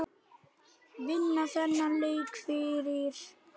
Vinna þennan leik fyrir hann!